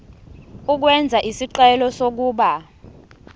ukwenza isicelo sokuba